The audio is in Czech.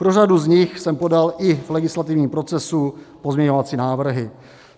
Pro řadu z nich jsem podal i v legislativním procesu pozměňovací návrhy.